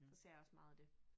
Så ser jeg også meget af det